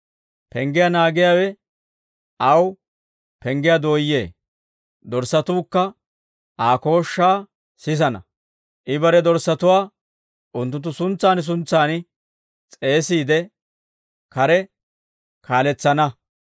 Penggiyaa naagiyaawe aw penggiyaa dooyyee; dorssatuukka Aa kooshshaa sisana; I bare dorssatuwaa unttunttu suntsan suntsan s'eesiide, kare kaaletsana.